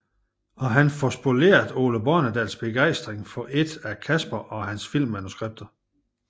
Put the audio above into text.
Og han får spoleret Ole Bornedals begejstring for et af Casper og hans filmmanuskripter